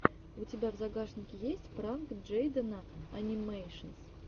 у тебя в загашнике есть пранк джейдена энимэйшенс